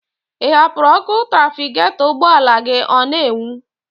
Ị hapụrụ ọkụ trafikatọ ugbọala gị ọ n'enwu?